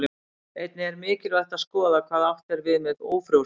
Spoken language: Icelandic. Einnig er mikilvægt að skoða hvað átt er við með ófrjósemi.